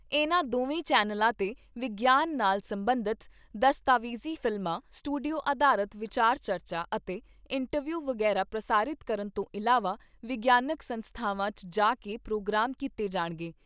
ਇਨ੍ਹਾਂ ਦੋਵੇਂ ਚੈਨਲਾਂ ਤੇ ਵਿਗਿਆਨ ਨਾਲ ਸਬੰਧਤ ਦਸਤਾਵੇਜ਼ੀ ਫ਼ਿਲਮਾਂ , ਸਟੂਡੀਓ ਆਧਾਰਤ ਵਿਚਾਰ ਚਰਚਾ ਅਤੇ ਇੰਟਰਵਿਊ ਵਗੈਰਾ ਪ੍ਰਸਾਰਿਤ ਕਰਨ ਤੋਂ ਇਲਾਵਾ ਵਿਗਿਆਨਕ ਸੰਸਥਾਵਾਂ 'ਚ ਜਾ ਕੇ ਪ੍ਰੋਗਰਾਮ ਕੀਤੇ ਜਾਣਗੇ।